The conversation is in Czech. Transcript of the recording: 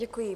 Děkuji.